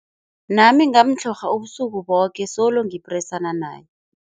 Nami ngamtlhorha ubusuku boke solo ngipresana naye.